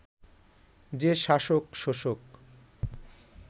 যে শাসক-শোষক